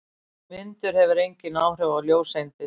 Vindur hefur engin áhrif á ljóseindir.